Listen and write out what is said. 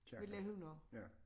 Kirken ja